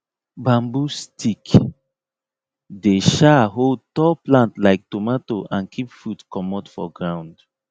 bamboo stick dey um hold tall plant like tomato and keep fruit comot for ground